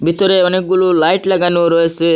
ভিতরে অনেকগুলো লাইট লাগানো রয়েসে।